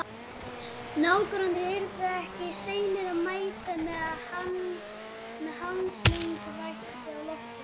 Nágrannarnir yrðu ekki seinir að mæta með handslökkvitækin á lofti.